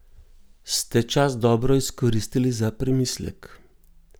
Ste čas dobro izkoristili za premislek?